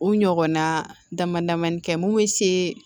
U ɲɔgɔnna dama damanin kɛ mun bɛ se